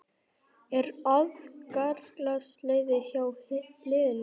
Er agaleysi hjá liðinu?